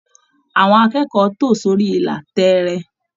Àwọn akẹ́kọ̀ọ́ tó sórí ìlà tẹẹrẹ.